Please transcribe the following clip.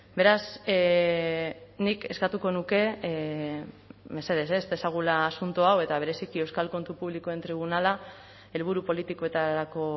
beraz nik eskatuko nuke mesedez ez dezagula asunto hau eta bereziki euskal kontu publikoen tribunala helburu politikoetarako